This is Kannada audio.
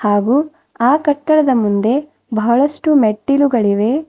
ಹಾಗು ಆ ಕಟ್ಟಡದ ಮುಂದೆ ಬಹಳಷ್ಟು ಮೆಟ್ಟಿಲುಗಳಿವೆ.